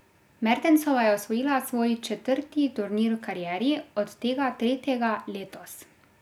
Mertensova je osvojila svoj četrti turnir v karieri, od tega tretjega letos.